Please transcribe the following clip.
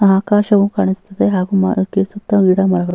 ಆಕಾಶವು ಕಾಣಿಸುತ್ತಿದೆ ಹಾಗು ಮರಕೆ ಸುತ್ತ ಗಿಡ ಮರಗಳು --